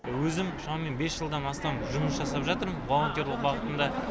өзім шамамен бес жылдан астам жұмыс жасап жатырмын волонтерлік бағытында